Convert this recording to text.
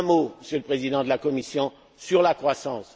Un mot, Monsieur le Président de la Commission, sur la croissance.